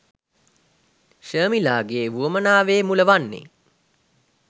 ශර්මිලාගේ වුවමනාවේ මුල වන්නේ